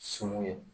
Sun ye